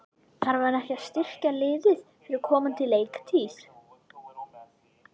Þarf hann ekki að styrkja liðið fyrir komandi leiktíð?